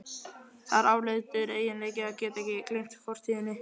Það er afleitur eiginleiki að geta ekki gleymt fortíðinni.